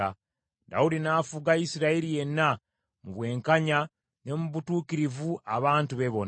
Dawudi n’afuga Isirayiri yenna, mu bwenkanya ne mu butuukirivu abantu be bonna.